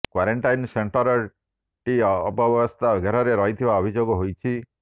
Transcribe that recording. quarantine centre ଟି ଅବ୍ୟବସ୍ଥା ଘେରରେ ରହିଥିବା ଅଭିଯୋଗ ହୋଇଛି